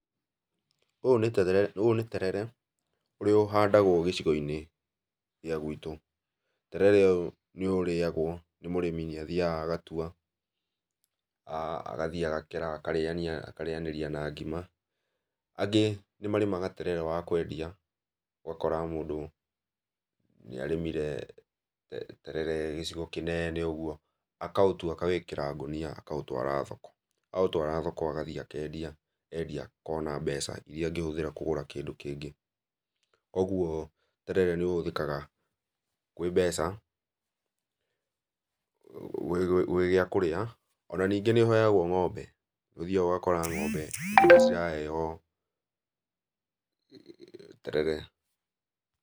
Ũyũ nĩ terere, ũyũ nĩ terere ũrĩa ũhandagwo gĩcigo-inĩ gĩa gwitũ, terere ũyũ nĩ ũrĩagwo nĩ mũrĩmi nĩ athiaga agatua agathiĩ agakera akarĩania akarĩanĩria na ngima, angĩ nĩ marĩmaga terere wa kwendia, ũgakora mũndũ nĩ arĩmire terere gĩcigo kĩnene ũguo, akaũtua akawĩkĩra ngũnia akaũtwara thoko, aũtwara thoko agathiĩ akendia, endia akona mbeca iria angĩhũthĩra kũgũra kĩndũ kĩngĩ, ũguo terere nĩ ũhũthĩkaga kwĩ mbeca gwĩ gĩakũrĩa, ona ningĩ nĩ ũheagwo ng'ombe, nĩ ũthiaga ũgakora ng'ombe nĩ ciraheo terere.